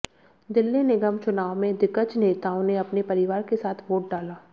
दिल्ली निगम चुनाव में दिग्गज नेताओं ने अपने परिवार के साथ वोट डाला